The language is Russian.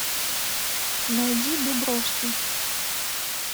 найди дубровский